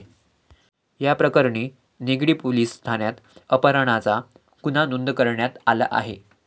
याप्रकरणी निगडी पोलिस ठाण्यात अपहरणाचा गुन्हा नोंद करण्यात आला आहे.